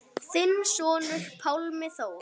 Þinn sonur, Pálmi Þór.